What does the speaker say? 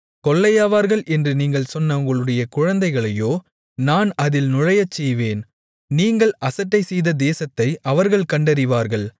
கொள்ளையாவார்கள் என்று நீங்கள் சொன்ன உங்களுடைய குழந்தைகளையோ நான் அதில் நுழையச் செய்வேன் நீங்கள் அசட்டைசெய்த தேசத்தை அவர்கள் கண்டறிவார்கள்